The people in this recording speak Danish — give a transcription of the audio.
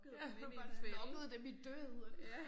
Ja du har bare lokket dem i døden